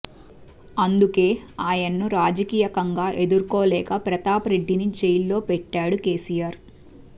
అందుకే ఆయన్ను రాజకీయంగా ఎదుర్కోలేక ప్రతాప్ రెడ్డిని జైల్లో పెట్టాడు కేసీఆర్